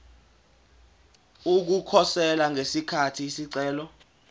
ukukhosela ngesikhathi isicelo